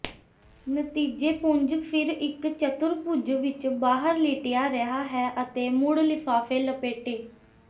ਨਤੀਜੇ ਪੁੰਜ ਫਿਰ ਇੱਕ ਚਤੁਰਭੁਜ ਵਿੱਚ ਬਾਹਰ ਲਿਟਿਆ ਰਿਹਾ ਹੈ ਅਤੇ ਮੁੜ ਲਿਫਾਫੇ ਲਪੇਟੇ